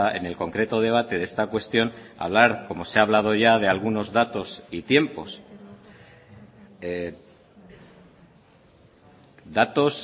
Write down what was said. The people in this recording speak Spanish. en el concreto debate de esta cuestión hablar como se ha hablado ya de algunos datos y tiempos datos